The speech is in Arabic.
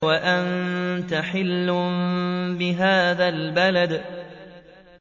وَأَنتَ حِلٌّ بِهَٰذَا الْبَلَدِ